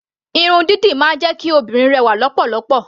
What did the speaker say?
Irun dídì máa ń jẹ́ kí obìnrin rẹwà lọ́pọ̀lọpọ̀.